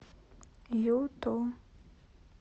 юту